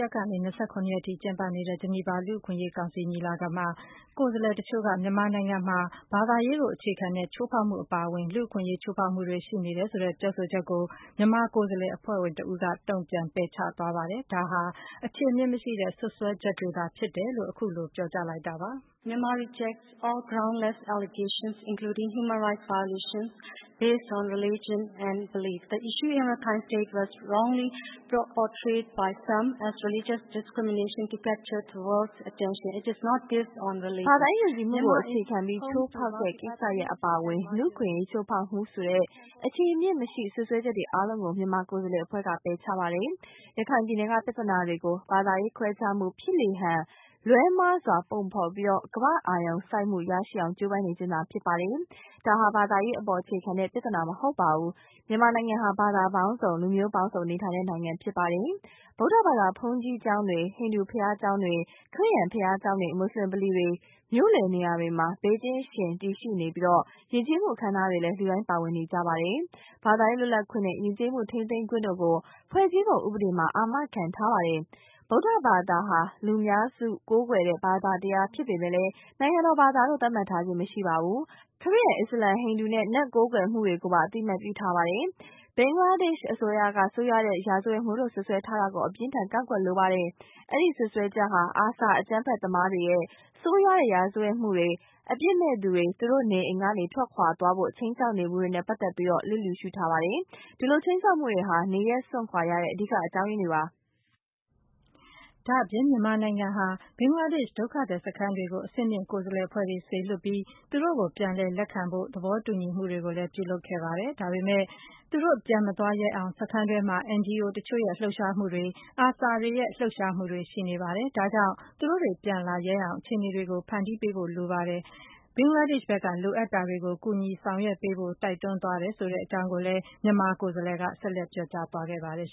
ရက်ကနေ ၂၇ ရက်အထိ ကျင်းပနေတဲ့ ဂျနီဗာ ကုလသမဂ္ဂ လူ့အခွင့်အရေးကောင်စီ ညီလာခံမှာ ကိုယ်စားလှယ်တချို့က မြန်မာနိုင်ငံမှာ ဘာသာရေးကိုအခြေခံတဲ့ ချိုးဖောက်မှု အပါအဝင် လူ့အခွင့်အရေး ချိုးဖောက်မှုတွေ ရှိနေတယ်ဆိုတဲ့ ပြောဆိုချက်ကို မြန်မာကိုယ်စားလှယ် အဖွဲ့ဝင်တဦးက တုံ့ပြန် ပယ်ချသွားပါတယ်။ ဒါဟာ အခြေအမြစ်မရှိတဲ့ စွပ်စွဲချက်များသာဖြစ်တယ်လို့ အခုလိုပြောကြားသွားပါတယ်။ " ဘာသာရေး ယုံကြည်မှုကို အခြေခံပြီး ချိုးဖောက်တဲ့ ကိစ္စရပ်အပါအဝင် လူ့အခွင့်အရေး ချိုးဖောက်မှုဆိုတဲ့ အခြေအမြစ် မရှိ စွပ်စွဲချက်တွေ အ ားလုံးကို မြန်မာကိုယ်စားလှယ် အဖွဲ့က ပယ်ချပါတယ်။ ရခိုင်ပြည်နယ်က ပြဿနာတွေကို ဘာသာ ရေး ခွဲခြားမှု ဖြစ်လေဟန် လွဲမှားစွာ ပုံဖော် ပြီး ကမ္ဘာ့ အာရုံစူးစိုက်မှုရရှိအောင် ကြိုးပမ်းနေခြင်းသာ ဖြစ်ပါတယ်။ ဒါဟာ ဘာသာရေးအပေါ် အခြေခံတဲ့ ပြဿနာ မဟုတ်ပါဘူး။ မြန်မာနိုင်ငံ ဟာ ဘာသာပေါင်းစုံ၊ လူမျိုးပေါင်းစုံနေထိုင်တဲ့ နိုင်ငံ ဖြစ်ပါတယ်။ ဗုဒ္ဓဘာသာ ဘုန်းကြီးကျောင်းတွေ၊ ဟိန္ဒူဘုရားကျောင်းတွေ၊ ခရစ်ယာန်ဘုရားကျောင်းတွေ၊ မွတ်ဆလင် ဗလီတွေ မြို့လည်နေရာတွေမှာ ဘေးချင်းယှဉ် တည်ရှိနေပြီး ယဉ်ကျေးမှုအခမ်းအနားတွေမှာလည်း လူတိုင်းပါဝင် နေကြပါတယ်။ ဘာသာရေးလွတ်လပ်ခွင့်နဲ့ ယဉ်ကျေးမှုထိန်းသိမ်းခွင့်တို့ကို ဖွဲ့စည်းပုံဥပဒေမှာ အာမခံထားပါတယ်။ ဗုဒ္ဓဘာသာဟာ လူများစုကိုးကွယ်တဲ့ ဘာသာတရားဖြစ်ပေမယ့် နိုင်ငံတော်ဘာသာလို့ သတ်မှတ်ထားခြင်း မရှိပါဘူး။ ခရစ်ယာန်၊ အစ္စလာမ်၊ ဟိန္ဒူနဲ့ နတ်ကိုးကွယ်မှုတွေကိုပါ အသိအမှတ်ပြုထားပါတယ်။ ဘင်္ဂလားဒေ့ရှ်အစိုးရက - ဆိုးရွားတဲ့ ရာဇဝတ်မှုလို့ စွပ်စွဲသွားတာကို အပြင်းအထန် ကန့်ကွက်လိုပါတယ်။ အဲဒီစွပ်စွဲချက်ဟာ ARSA အကြမ်းဖက်သမားတွေရဲ့ ဆိုးရွားတဲ့ ရာဇဝတ်မှုတွေ၊ အပြစ်မဲ့သူတွေ သူတို့နေအိမ်ကနေ ထွက်ခွာသွားဖို့ ခြိမ်းခြောက်နေမှုတွေနဲ့ ပတ်သက်ပြီး လျစ်လျူရှုထားပါတယ်။ ဒီလို ခြိမ်းခြောက်မှုတွေဟာ နေရပ်စွန့်ခွာရတဲ့ အဓိက အကြောင်းရင်းတွေပါ။" ဒါ့အပြင် မြန်မာနိုင်ငံဟာ ဘင်္ဂလားဒေ့ရှ်ဒုက္ခသည်စခန်းတွေကို အဆင့်မြင့် ကိုယ်စားလှယ် အဖွဲ့တွေ စေလွှတ်ပြီး သူတို့ကို ပြန်လည်လက်ခံဖို့ သဘောတူညီမှုတွေလည်း ပြုလုပ်ခဲ့ပါတယ်။ ဒါပေမယ့် သူတို့ပြန်မသွားရဲအောင် စခန်းတွင်းမှာ NGO တချို့ရဲ့ လှုပ်ရှားမှုတွေ၊ ARSA တွေရဲ့ လှုပ်ရှားမှုတွေ ရှိနေပါတယ်။ ဒါကြောင့် သူတို့တွေ ပြန်လာရဲအောင် အခြေအနေတွေ ဖန်တီးပေးဖို့ လိုပါတယ်။ ဘင်္ဂလားဒေ့ရှ်ဖက်က လိုအပ်တာတွေကို ကူညီဆောင်ရွက်ပေးဖို့ တိုက်တွန်းသွားတယ် ဆိုတဲ့အကြောင်းကိုလည်း မြန်မာကိုယ်စားလှယ်က ဆက်လက်ပြောကြားသွားပါတယ်။